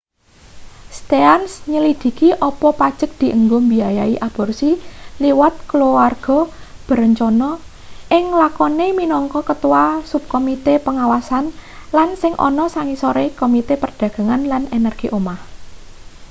stearns nyelidhiki apa pajek dienggo mbiayai aborsi liwat keluarga berencana ing lakone minangka ketua subkomite pengawasan lan sing ana sangisore komite perdagangan lan energi omah